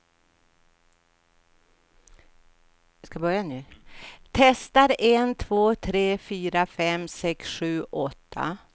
Testar en två tre fyra fem sex sju åtta.